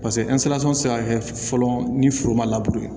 bɛ se ka kɛ fɔlɔ ni foro ma labure